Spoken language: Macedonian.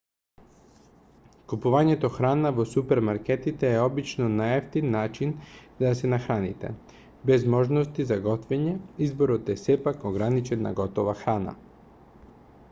купувањето храна во супермаркетите е обично најевтин начин за да се нахраните без можности за готвење изборот е сепак ограничен на готова храна